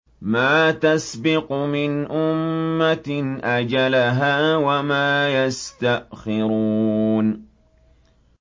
مَّا تَسْبِقُ مِنْ أُمَّةٍ أَجَلَهَا وَمَا يَسْتَأْخِرُونَ